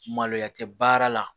Maloya tɛ baara la